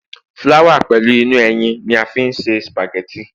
flower pẹlu inú ẹyìn ni a fi n ṣe spaghetti